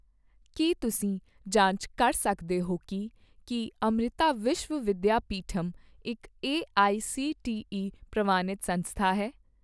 ਕੀ ਤੁਸੀਂ ਜਾਂਚ ਕਰ ਸਕਦੇ ਹੋ ਕੀ ਕੀ ਅਮ੍ਰਿਤਾ ਵਿਸ਼ਵ ਵਿਦਿਆਪੀਠਮ ਇੱਕ ਏਆਈਸੀਟੀਈ ਪ੍ਰਵਾਨਿਤ ਸੰਸਥਾ ਹੈ?